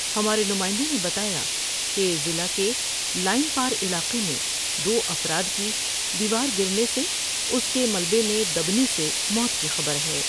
ہمارے نمائندے نے بتایا کہ ضلع کے لائن پار علاقے میں دوافراد کی دیوار گرنے سے اس کے ملبے میں دینے سے موت کی خبر ہے ۔